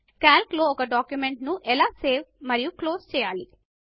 Calc లో ఒక document ను ఎలా సేవ్ మరియు క్లోజ్ చేయాలి